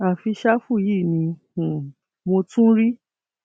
àfi ṣáfù yìí ni um mo tún rí